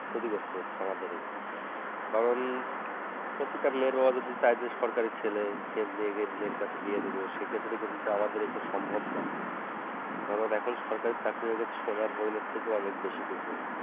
ক্ষতিগ্রস্ত আমাদেরই কারণ প্রতিটা মেয়ের বাবা যদি চায় যে সরকারি ছেলেকে মেয়েকে মেয়ের কাছে বিয়ে দেব সেক্ষেত্রে কিন্তু আমাদের এটা সম্ভব না কারণ এখন সরকারি চাকরি হয়ে গেছে সোনার হরিনের থেকেও অনেক বেশি কিছু